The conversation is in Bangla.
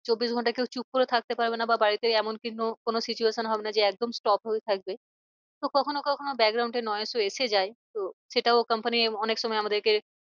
চব্বিশ ঘন্টা কেউ চুপ করে থাকতে পারবে না। বা বাড়িতে এমন কিন্তু কোনো situation হবে না যে একদম stop হয়েই থাকবে। তো কখনো কখনো এ ও এসে যায়। তো সেটাও comapny অনেক সময় আমাদেরকে